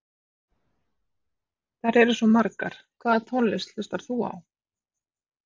Þær eru svo margar Hvaða tónlist hlustar þú á?